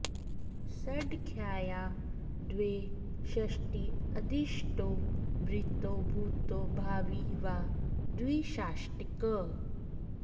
सङ्ख्यायाः द्वे षष्टी अधीष्टो भृतो भूतो भावी वा द्विषाष्टिकः